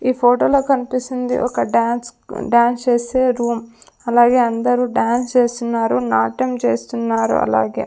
ఈ ఫోటోలో కనిపిస్తుంది ఒక డాన్స్ డాన్స్ చేసే రూమ్ అలాగే అందరూ డాన్స్ చేస్తున్నారు నాట్యం చేస్తున్నారు అలాగే.